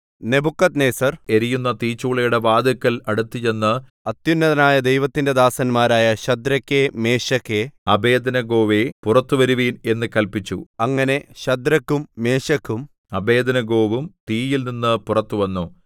Nebuchadnezzar എരിയുന്ന തീച്ചൂളയുടെ വാതില്ക്കൽ അടുത്തുചെന്ന് അത്യുന്നതനായ ദൈവത്തിന്റെ ദാസന്മാരായ ശദ്രക്കേ മേശക്കേ അബേദ്നെഗോവേ പുറത്തു വരുവിൻ എന്ന് കല്പിച്ചു അങ്ങനെ ശദ്രക്കും മേശക്കും അബേദ്നെഗോവും തീയിൽനിന്ന് പുറത്തു വന്നു